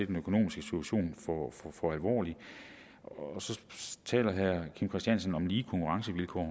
den økonomiske situation for alvorlig så taler herre kim christiansen om lige konkurrencevilkår